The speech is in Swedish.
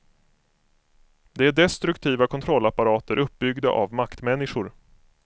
Det är destruktiva kontrollapparater uppbyggda av maktmänniskor.